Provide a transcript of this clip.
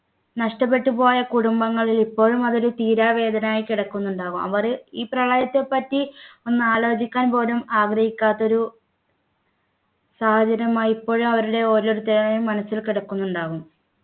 നഷ്ടപ്പെട്ടുപോയ കുടുംബങ്ങളിൽ ഇപ്പോഴും അത് ഒരു തീരാ വേദനയായി കിടക്കുന്നുണ്ടാവാം അവര് ഈ പ്രളയത്തെപ്പറ്റി ഒന്ന് ആലോചിക്കാൻ പോലും ആഗ്രഹിക്കാത്ത ഒരു സാഹചര്യമായി ഇപ്പോഴും അവരുടെ ഓരോരുത്തരുടെയും മനസ്സിൽ കിടക്കുന്നുണ്ടാവും